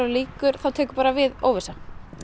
þá tekur bara við óvissa